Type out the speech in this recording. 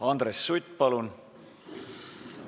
Andres Sutt, palun!